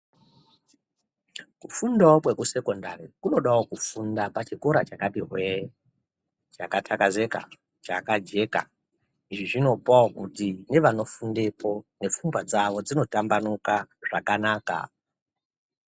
Kufundawo kwekusecondary kunodawo kufunda pachikora chakati hwee chakajeka chakatakazeka izvi zvinopawo kuti nevano fundapo nepfungwa dzawo dzinotambanuka zvakanaka.